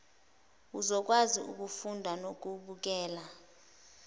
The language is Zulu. uzokwazi ukufunda nokubukela